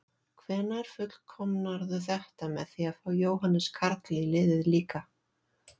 Hvenær fullkomnarðu þetta með því að fá Jóhannes Karl í liðið líka?